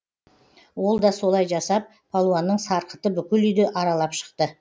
ол да солай жасап палуанның сарқыты бүкіл үйді аралап шықты